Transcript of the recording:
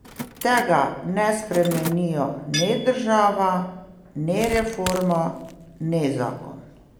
Tega ne spremenijo ne država, ne reforma, ne zakon.